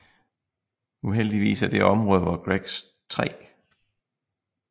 Uheldigvis er det område hvor Greggs 3